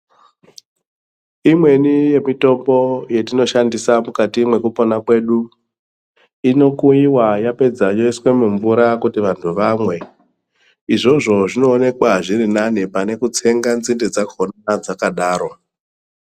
Imweni yemitombo yetinoshandisa mukati mwekupona kwedu, inokuyiwa yapedza yoiswa mumvura kuti vantu vamwe izvozvo zvinoonekwa zviri nane pane kutsenga nzinde dzakona dzakadaro.